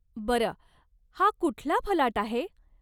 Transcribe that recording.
बरं, हा कुठला फलाट आहे?